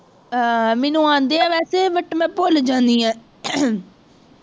ਆਹ ਮੈਨੂੰ ਆਂਦੇ ਹੈ ਵੈਸੇ but ਮੈਂ ਭੁੱਲ ਜਾਂਦੀ ਹਾਂ